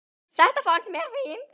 Þetta fannst mér fínt.